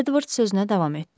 Edvards sözünə davam etdi.